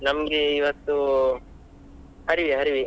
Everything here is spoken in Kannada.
ನಮ್ಗೆ ಇವತ್ತು, ಹರಿವೆ ಹರಿವೆ.